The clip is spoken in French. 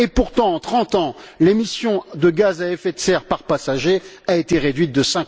Et pourtant, en 30 ans, l'émission de gaz à effet de serre par passager a été réduite de